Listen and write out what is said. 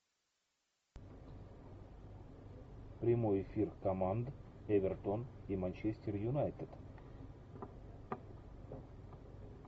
прямой эфир команд эвертон и манчестер юнайтед